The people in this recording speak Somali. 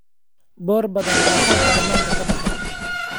Boor badan baa halkan bananka ka baxaya